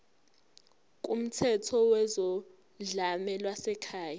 kumthetho wezodlame lwasekhaya